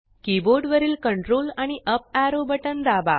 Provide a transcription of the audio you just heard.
keyboard वरील Ctrl आणि up arrow button दाबा